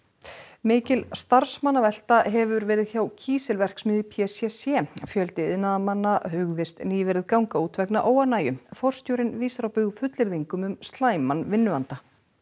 mikil starfsmannavelta hefur verið hjá kísilverksmiðju p c c fjöldi iðnaðarmanna hugðist nýverið ganga út vegna óánægju forstjórinn vísar á bug fullyrðingum um slæman vinnuanda